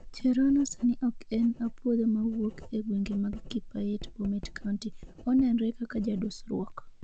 Cherono sani ok en apuodho mawuok ee gwenge mag Kipait Bomet County, onenre kaka jadusruok